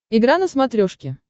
игра на смотрешке